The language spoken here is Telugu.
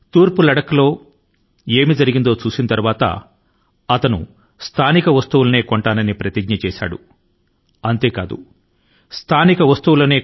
తూర్పు లద్దాఖ్ లో ఏమి జరిగిందో చూసిన తరువాత ఆమె ప్రతిజ్ఞ ను స్వీకరించారు అని మరి ఆ ప్రతిజ్ఞ ఏమిటి అంటే ఆమె లోకల్ మాత్రమే కొనుగోలు చేస్తారని అలాగే లోకల్ కోసం వోకల్